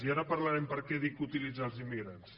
i ara parlarem de per què dic utilitzar els immigrants